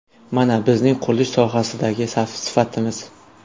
Mana, bizning qurilish sohasidagi sifatimiz.